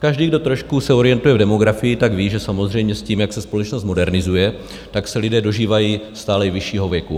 Každý, kdo trošku se orientuje v demografii, tak ví, že samozřejmě s tím, jak se společnost modernizuje, tak se lidé dožívají stále vyššího věku.